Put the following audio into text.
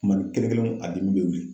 Kumanin kelen kelenw a bi wuli o ɲɛ.